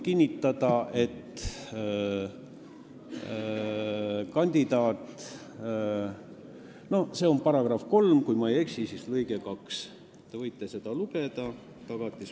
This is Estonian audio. See on Tagatisfondi seaduse § 3, kui ma ei eksi, siis lõige 2, te võite seda lugeda.